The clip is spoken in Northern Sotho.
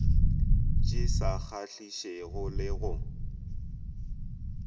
di sa kgahlišego le go